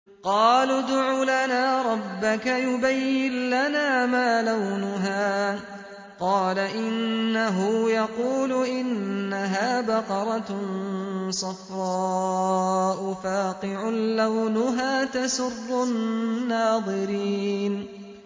قَالُوا ادْعُ لَنَا رَبَّكَ يُبَيِّن لَّنَا مَا لَوْنُهَا ۚ قَالَ إِنَّهُ يَقُولُ إِنَّهَا بَقَرَةٌ صَفْرَاءُ فَاقِعٌ لَّوْنُهَا تَسُرُّ النَّاظِرِينَ